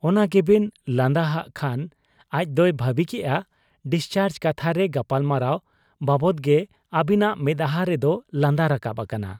ᱚᱱᱟ ᱜᱮᱵᱤᱱ ᱞᱟᱸᱫᱟ ᱦᱟᱜ ᱠᱷᱟᱱ ᱟᱡᱫᱚᱭ ᱵᱷᱟᱹᱵᱤ ᱠᱮᱜ ᱟ ᱰᱤᱥᱪᱟᱨᱡᱽ ᱠᱟᱛᱷᱟ ᱨᱮ ᱜᱟᱯᱟᱞᱢᱟᱨᱟᱣ ᱵᱟᱵᱽᱫᱚᱜᱮ ᱟᱹᱵᱤᱱᱟᱜ ᱢᱮᱫᱦᱟᱸ ᱨᱮᱫᱚ ᱞᱟᱸᱫᱟ ᱨᱟᱠᱟᱵ ᱟᱠᱟᱱᱟ ᱾